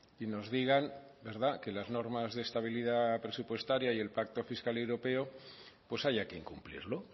y nos digan verdad que las normas de estabilidad presupuestaria y el pacto fiscal europeo pues haya que incumplirlo